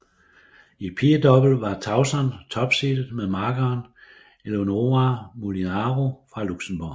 I pigedouble var Tauson topseedet med makkeren Eléonora Molinaro fra Luxembourg